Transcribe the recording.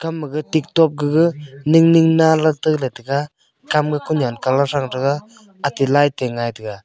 ga maga tiktok gaga ning ning nalak teley taiga kam a kunyan colour thrang taiga ate light light te ngai taiga.